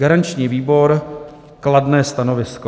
Garanční výbor - kladné stanovisko.